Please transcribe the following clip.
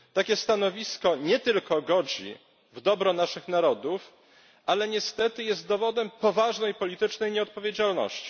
Takie stanowisko nie tylko godzi w dobro naszych narodów, ale niestety jest dowodem poważnej politycznej nieodpowiedzialności.